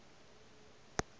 ge a be a agile